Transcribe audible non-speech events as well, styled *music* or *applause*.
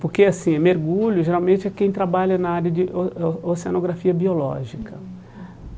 Porque assim mergulho geralmente é quem trabalha na área de o o oceanografia biológica. *unintelligible*